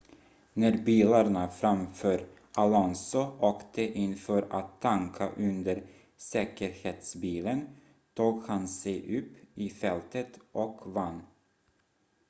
när bilarna framför alonso åkte in för att tanka under säkerhetsbilen tog han sig upp i fältet och vann